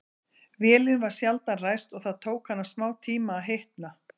Vélin var sjaldan ræst og það tók hana smátíma að hitna.